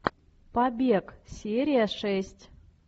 побег серия шесть